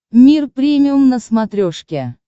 мир премиум на смотрешке